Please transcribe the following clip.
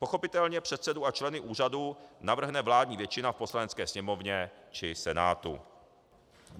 Pochopitelně předsedu a členy úřadu navrhne vládní většina v Poslanecké sněmovně či Senátu.